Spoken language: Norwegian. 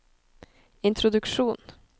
introduksjon